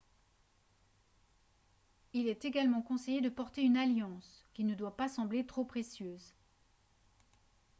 il est également conseillé de porter une alliance qui ne doit pas sembler trop précieuse